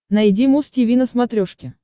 найди муз тиви на смотрешке